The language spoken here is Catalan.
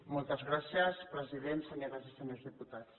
moltes gràcies president senyores i senyors diputats